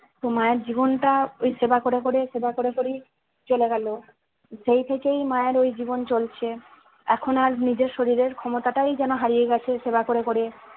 তো মায়ের জীবনটা ওই সেবা করে করে সেবা করে করেই চলে গেলো সেই থেকেই মায়ের ওই জীবন চলছে এখন আর নিজের শরীরের ক্ষমতাটাই যেন হারিয়ে গেছে সেবা করে করে